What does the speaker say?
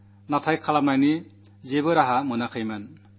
എന്നാൽ എന്തു ചെയ്യണമെന്നു മനസ്സിലായില്ല